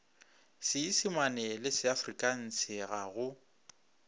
seisimane le seafrikanse ga go